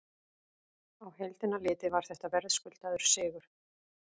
Á heildina litið var þetta verðskuldaður sigur.